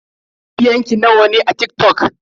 Mabiyan ki nawa ne a TikTok?